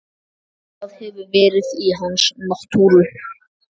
Það hefur verið í hans náttúru.